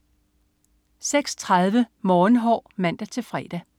06.30 Morgenhår (man-fre)